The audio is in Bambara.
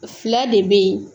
Fila de bɛ yen